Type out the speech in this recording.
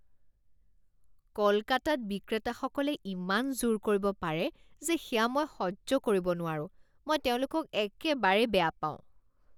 কলকাতাত বিক্ৰেতাসকলে ইমান জোৰ কৰিব পাৰে যে সেয়া মই সহ্য কৰিব নোৱাৰো। মই তেওঁলোকক একেবাৰেই বেয়া পাওঁ।